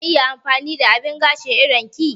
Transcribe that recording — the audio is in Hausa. Zan iya amfani da abin gashin idon ki?